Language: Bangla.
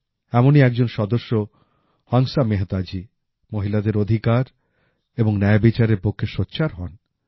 এমনই একজন সদস্য হংসা মেহতাজী মহিলাদের অধিকার এবং ন্যায়বিচারের পক্ষে সোচ্চার হন